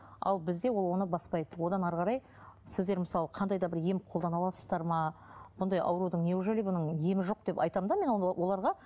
ал бізде ол оны баспайды одан әрі қарай сіздер мысалы қандай да бір ем қолдана аласыздар ма бұндай аурудың неужели бұның емі жоқ деп айтамын да мен оларға